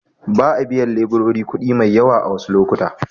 Ba a biyan leburori kuɗi mai yawa a wasu lokuta.